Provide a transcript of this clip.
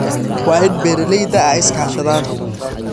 Waa in beeralayda ay iska kaashadaan.